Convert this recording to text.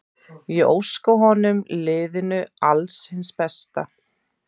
Ég óska honum og liðinu alls hins besta.